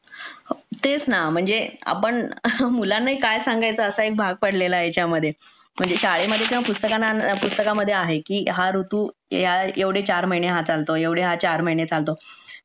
तेच ना म्हणजे आपण आपण मुलांनाही काय सांगायचं हा एक भाग पडलेला आहे याच्यामध्ये म्हणजे शाळेमध्ये किंवा पुस्तकांत पुस्तकांमध्ये आहे की हा ऋतू या एवढे चार महिने हा चालतो एवढे हा चार महिने चालतो